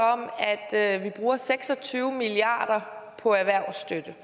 der er et vi bruger seks og tyve milliard kroner på erhvervsstøtte